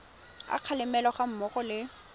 a kgalemo ga mmogo le